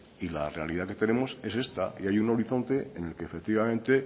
y la realidad que tenemos es esta y hay un horizonte en el que efectivamente